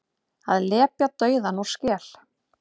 Að lepja dauðann úr skel